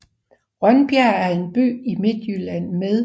Rønbjerg er en by i Midtjylland med